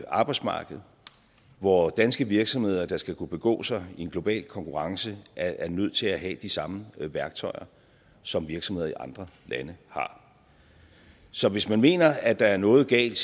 arbejdsmarked hvor danske virksomheder der skal kunne begå sig i en global konkurrence er nødt til at have de samme værktøjer som virksomheder i andre lande har så hvis man mener at der er noget galt